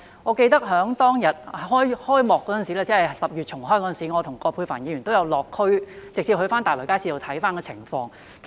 我記得當日開幕時——即10月重開時——我和葛珮帆議員也有落區，直接往大圍街市視察情況。